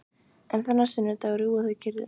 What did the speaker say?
En þennan sunnudag rjúfa þau kyrrðina.